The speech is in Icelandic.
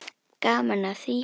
Gaman af því.